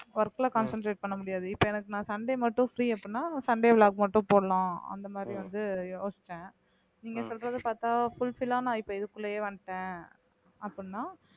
work ல concentrate பண்ண முடியாது இப்ப எனக்கு நான் சண்டே மட்டும் free அப்படின்னா சண்டே vlog மட்டும் போடலாம் அந்த மாதிரி வந்து யோசிச்சேன் நீங்க சொல்றது பார்த்தா fulfil ஆ நான் இப்ப இதுக்குள்ளயே வந்துட்டேன் அப்படினா